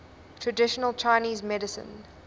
traditional chinese medicine